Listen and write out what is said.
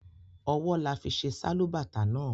Ọwọ là fi ṣe Sálúbàtà náà